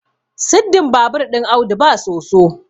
siddin babur ɗin Audu ba soso